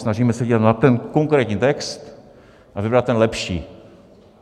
Snažíme se dívat na ten konkrétní text a vybrat ten lepší.